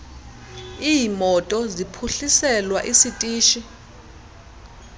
iimoto liphuhliselwa isitishi